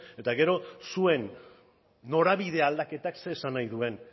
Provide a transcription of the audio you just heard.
eta gero zuen norabide aldaketak zer esan nahi duen